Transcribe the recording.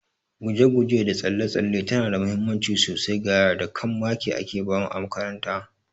Guje guje da tsalle tsalle tana da muhimmanci sosai ga yara, da kam maki ake bamu a makaranta